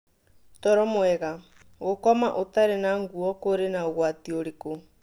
Toro mwega: Gũkoma ũtarĩ na ngũo kũrĩ na ũgwati ũrĩkũ?